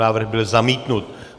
Návrh byl zamítnut.